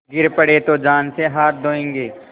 गिर पड़े तो जान से हाथ धोयेंगे